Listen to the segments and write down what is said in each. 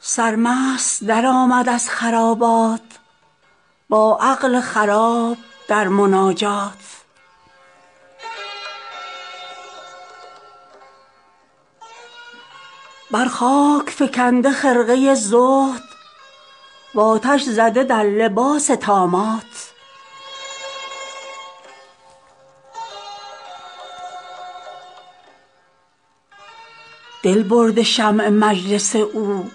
سرمست درآمد از خرابات با عقل خراب در مناجات بر خاک فکنده خرقه زهد و آتش زده در لباس طامات دل برده شمع مجلس او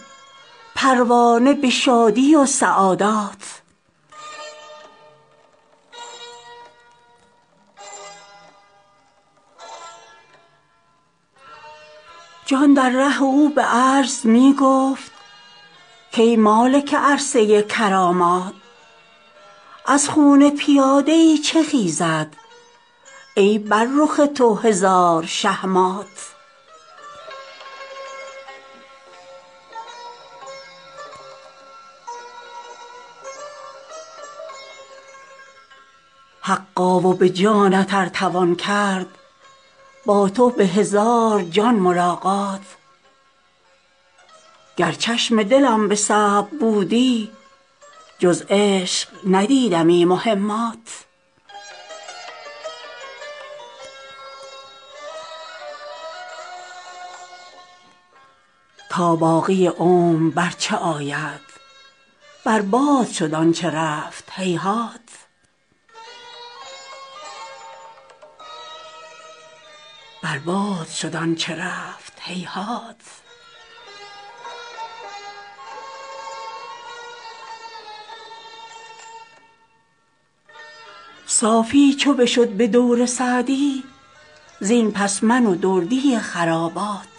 پروانه به شادی و سعادات جان در ره او به عجز می گفت کای مالک عرصه کرامات از خون پیاده ای چه خیزد ای بر رخ تو هزار شه مات حقا و به جانت ار توان کرد با تو به هزار جان ملاقات گر چشم دلم به صبر بودی جز عشق ندیدمی مهمات تا باقی عمر بر چه آید بر باد شد آن چه رفت هیهات صافی چو بشد به دور سعدی زین پس من و دردی خرابات